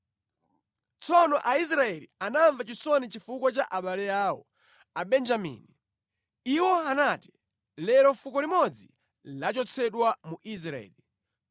Tsono Aisraeli anamva chisoni chifukwa cha abale awo, Abenjamini. Iwo anati, “Lero fuko limodzi lachotsedwa mu Israeli.